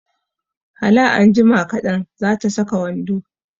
Hala anjima kaɗan, za ta saka wando